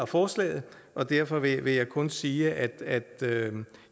forslaget og derfor vil jeg kun sige at